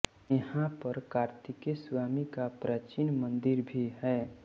यहां पर कार्तिकेय स्वामी का प्राचीन मंदिर भी है